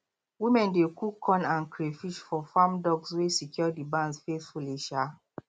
women dey cook corn and crayfish for farm dogs wey secure the barns faithfully um